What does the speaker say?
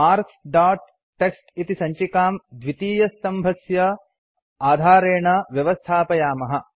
marks dot TXT इति सञ्चिकां द्वितीयस्तम्भस्य आधारेण व्यवस्थापयामः